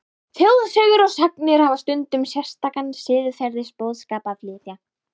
Þjóðsögur og sagnir hafa stundum sérstakan siðferðisboðskap að flytja.